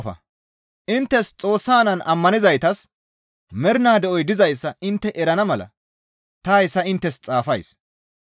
Inttes Xoossa Naan ammanizaytas mernaa de7oy dizayssa intte erana mala ta hayssa inttes xaafays.